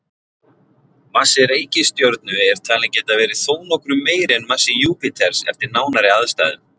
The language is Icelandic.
Massi reikistjörnu er talinn geta verið þó nokkru meiri en massi Júpíters eftir nánari aðstæðum.